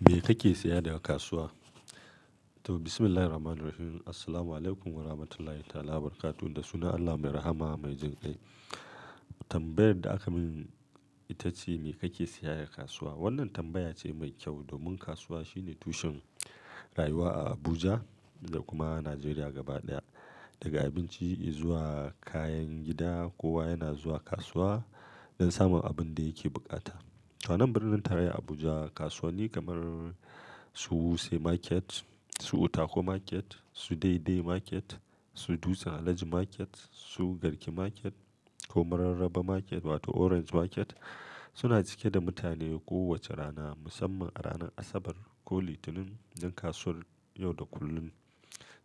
Me kake saya daga kasuwa? To, bismillahirrahmanirrahim. Assalamualaikum warahmatullahi ta wabarakatuh da suna Allah mai rahama mai jin kai. Tambayar da aka min ita ce, "Me kake saya daga kasuwa?" Wannan tambaya ce mai kyau domin kasuwa shine tushen rayuwa a Abuja da kuma Najeriya gaba ɗaya. Daga abinci zuwa kayan gida, kowa yana zuwa kasuwa don samun abin da yake bukata. A wannan birnin tarayya Abuja, kasuwanni kamar su Wuse Market, su Utako Market, su Dei Dei Market, su Dutse Alhaji Market, su Garki Market ko Mararaba Market wato Orange Market suna cike da mutane kowace rana, musamman a ranar Asabar ko Litinin. Idan kasuwar yau da kullum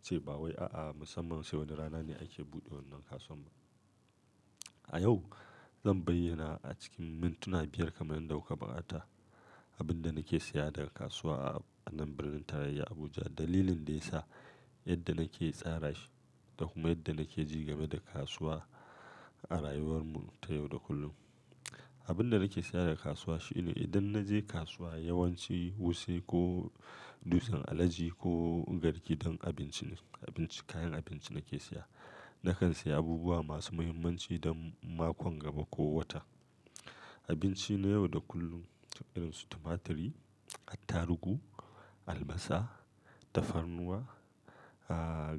ce, ba wai a'a musamman sai wani rana ne ake buɗe wannan kasuwar. A yau zan bayyana a cikin mintuna biyar kamar yadda kuka bukata abin da nake siya daga kasuwa a wannan birnin tarayya Abuja, dalilin da ya sa, yadda nake tsara shi da kuma yadda nake ji game da kasuwa a rayuwar mu ta yau da kullum. Abin da nake siya daga kasuwa shine idan na je kasuwa, yawanci Wuse ko Dutsen Alhaji ko Garki don abinci ne, abinci, kayan abinci nake siya. Nakan siya abubuwa masu muhimmanci don makon gaba ko wata. Abinci na yau da kullum irin su tumaturi, attarugu, albasa, tafarnuwa,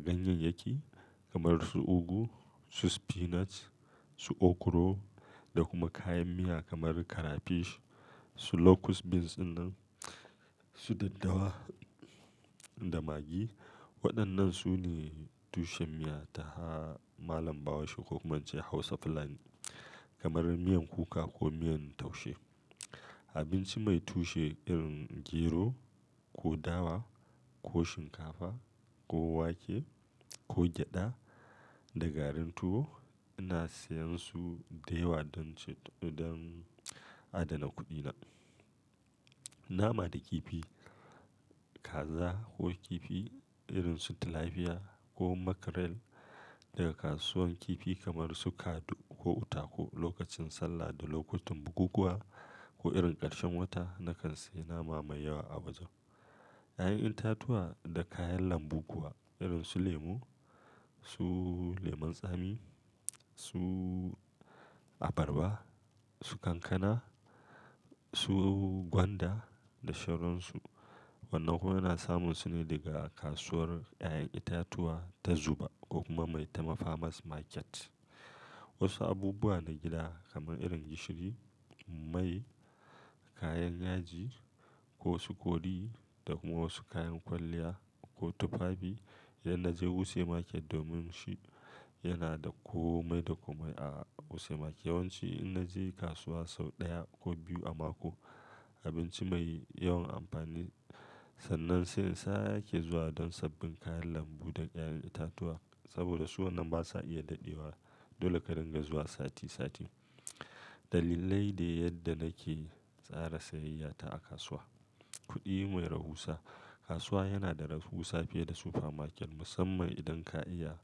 ganyeyyaki kamar su ugu, su spinach, su okro da kuma kayan miya kamar karafish, su locust beans ɗinnan, su daddawa da magi. Waɗannan su ne tushen miya ta malam bahaushe ko kuma an ce Hausa fulani kamar miyan kuka ko miyan taushe. Abinci mai tushe irin gero ko dawa ko shinkafa ko wake ko gyada da garin tuwo ina siyan su da yawa don adana kuɗina. Nama da kifi, kaza ko kifi irin su tilapia ko mackerel daga kasuwar kifi kamar su Kaadu ko Utako lokacin sallah da lokutan bukukuwa ko irin ƙarshen wata nakan siya nama mai yawa a wajen. Ƴaƴan itatuwa da kayan lambu kuwa irin su lemu, su lemon tsami, su abarba, su kankana, su gwanda da shoronsu. Wannan kuma yana samun su ne daga kasuwar ƴaƴan itatuwa ta Zuba ko kuma mai ta Farmers Market. Wasu abubuwa na gida kamar irin gishiri, mai, kayan yaji ko wasu kori da kuma wasu kayan kwalliya ko tufafi idan na je Wuse Market domin shi yana da komai da komai a Wuse Market. Yawanci idan na je kasuwa sau ɗaya ko biyu a mako, abinci mai yawan amfani, sannan sai in sake zuwa don sabbin kayan lambu da ƴaƴan itatuwa. Saboda su wannan ba sa iya daɗewa. Dole ka ringa zuwa sati sati. Dalilai da yadda nake tsara siyayya ta a kasuwa. Kuɗi mai rahusa. Kasuwa yana da rahusa fiye da super market musamman idan ka iya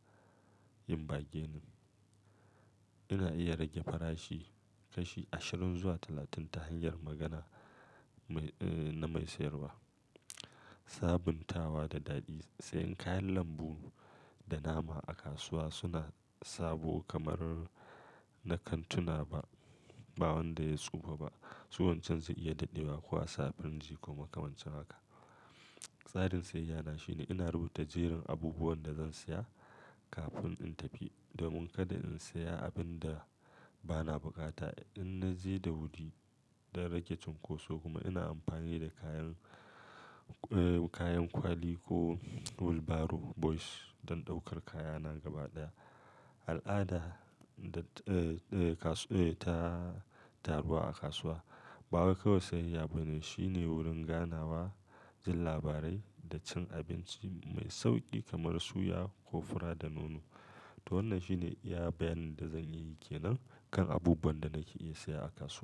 yin bargaining. Ina iya rage farashi kashi ashirin zuwa talatin ta hanyar magana mai, eh, na mai sayarwa. Sabuntawa da daɗi. Sai kayan lambu da nama a kasuwa suna sabo kamar na kantuna ba wanda ya tsufa ba. Su wancan su iya daɗewa ko a sa a firinji ko makamancin haka. Tsarin siyayya na shine ina rubuta jerin abubuwan da zan siya kafin in tafi domin kada in siya abin da bana bukata idan na je da wuri don rage cunkoso. Kuma ina amfani da kayan, eh, kayan kwali ko wheelbarrow boys don ɗaukar kayana gaba ɗaya. Al'ada da, eh, kasuwa, eh, ta taru a kasuwa. Ba kawai siyayya ba ne, shine wurin ganawa, jin labarai da cin abinci mai sauƙi kamar suya ko fura da nono. To wannan shine iya bayanin da zan iya yi ke nan kan abubuwan da nake iya siya a kasuwa.